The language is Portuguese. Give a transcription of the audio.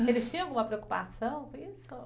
Eles tinham alguma preocupação com isso?